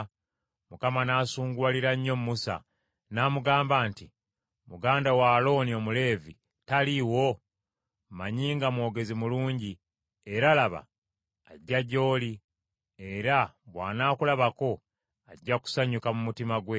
Mukama n’asunguwalira nnyo Musa, n’amugamba nti, “Muganda wo Alooni Omuleevi, taliiwo? Mmanyi nga mwogezi mulungi; era, laba, ajja gy’oli, era bw’anaakulabako ajja kusanyuka mu mutima gwe.